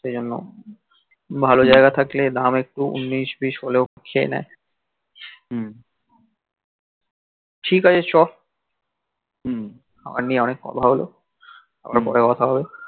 সেইজন্ন্য ভাল জাইগা থাকলে দাম একটু উনিশ বিশ হলেও খেয়ে নেই হম ঠিক আছে চ অনেক কথা হল আবার পরে কথা হবে